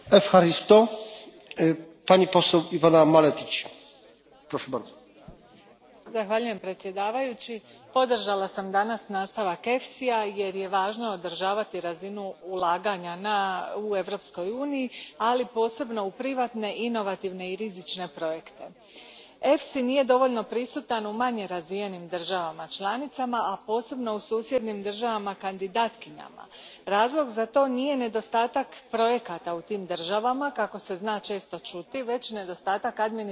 Gospodine predsjedniče, danas sam podržala nastavak EFSI ja jer je važno održavati razinu ulaganja u Europskoj uniji, ali posebno u privatne, inovativne i rizične projekte. EFSI nije dovoljno prisutan u manje razvijenim državama članicama, a posebno u susjednim državama kandidatkinjama. Razlog za to nije nedostatak projekata u tim državama, kako se često zna čuti, već nedostatak administrativnih kapaciteta.